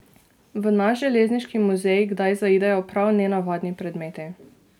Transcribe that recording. V naš železniški muzej kdaj zaidejo prav nenavadni predmeti.